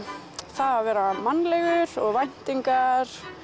það að vera mannlegur og væntingar